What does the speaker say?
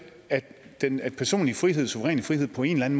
at den personlige frihed ens suveræne frihed på en